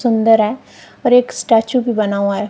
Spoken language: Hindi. सुंदर हैं और एक स्टैचू भी बना हुआ हैं।